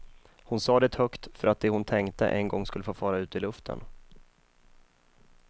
Hon sa det högt för att det hon tänkte en gång skulle få fara ut i luften.